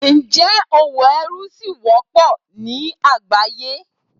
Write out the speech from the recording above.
Ǹjẹ́ òwò ẹrú ṣí wọ́pọ̀ ní àgbáyé?